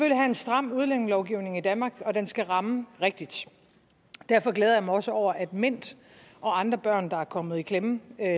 have en stram udlændingelovgivning i danmark og den skal ramme rigtigt derfor glæder jeg mig også over at mint og andre børn der er kommet i klemme